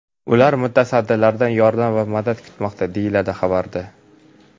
Ular mutasaddilardan yordam va madad kutmoqda, deyiladi xabarda.